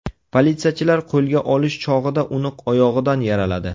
Politsiyachilar qo‘lga olish chog‘ida uni oyog‘idan yaraladi.